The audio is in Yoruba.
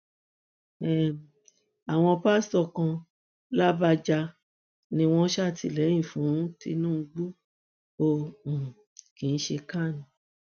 um àwọn pásítọ kan làbàjá ni wọn ṣàtìlẹyìn fún tìtúngbù o um kì í ṣe can